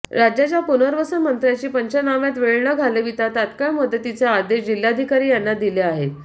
राज्याच्या पुनर्वसन मंत्र्यांनी पंचनाम्यात वेळ न घालवीता तत्काळ मदतीचे आदेश जिल्हाधिकारी यांना दिले आहेत